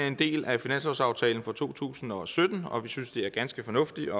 en del af finanslovsaftalen for to tusind og sytten og vi synes det er ganske fornuftigt